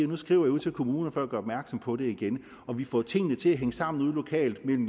hun skriver ud til kommunerne for at gøre opmærksom på det igen og vi får tingene til at hænge sammen ude lokalt mellem